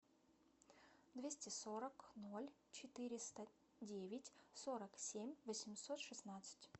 двести сорок ноль четыреста девять сорок семь восемьсот шестнадцать